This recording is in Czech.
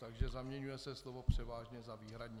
Takže zaměňuje se slovo "převážně" za "výhradně".